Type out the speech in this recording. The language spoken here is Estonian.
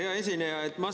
Hea esineja!